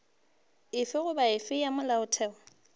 efe goba efe ya molaotheo